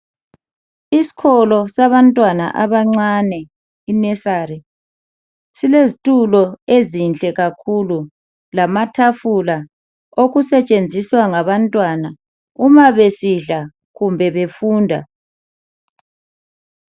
Isikolo sabantwana abancane inursery silezitulo ezinhle kakhulu lamatafula okusetshenziswa ngabantwana uma besidla kumbe befunda.